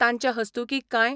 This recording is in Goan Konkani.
तांचे हस्तुकीं कांय